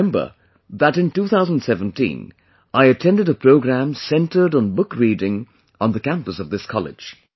I remember that in 2017, I attended a programme centred on book reading on the campus of this college